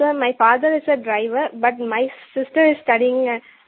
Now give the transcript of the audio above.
no sir my father is a driver but my sister is studying in